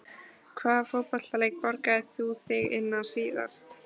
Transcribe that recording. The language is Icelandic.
Hvaða fótboltaleik borgaðir þú þig inn á síðast?